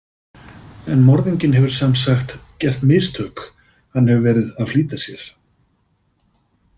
En morðinginn hefur semsagt gert mistök, hann hefur verið að flýta sér.